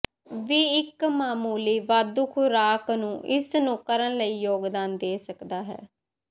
ਵੀ ਇੱਕ ਮਾਮੂਲੀ ਵਾਧੂ ਖੁਰਾਕ ਨੂੰ ਇਸ ਨੂੰ ਕਰਨ ਲਈ ਯੋਗਦਾਨ ਦੇ ਸਕਦਾ ਹੈ